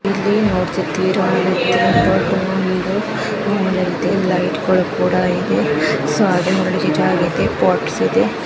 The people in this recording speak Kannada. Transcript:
ಇಲ್ಲಿ ನೋಡತಿದ್ದಿರ ಇದು ತುಂಬಾ ಚೆನ್ನಾಗಿದೆ ಆಮೇಲೆ ಲೈಟ್ಗಳು ಕೂಡ ಇದೆ ಸೋ ಹಾಗೆ ಇದೆ ಪೊಟ್ಸ್ ಇದೆ